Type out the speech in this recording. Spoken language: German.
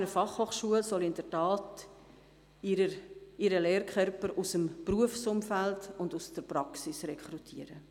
Die BFH soll ihren Lehrkörper aus dem Berufsumfeld und aus der Praxis rekrutieren.